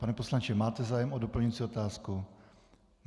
Pane poslanče, máte zájem o doplňující otázku?